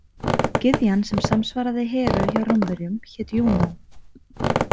Gyðjan sem samsvaraði Heru hjá Rómverjum hét Júnó.